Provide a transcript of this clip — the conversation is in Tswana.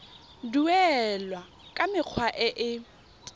duelwa ka mekgwa e e